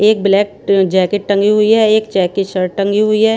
एक ब्लैक ट जैकेट टंगी हुई हैं एक चेक की शर्ट टंगी हुई हैं।